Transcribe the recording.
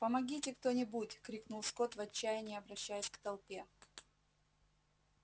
помогите кто нибудь крикнул скотт в отчаянии обращаясь к толпе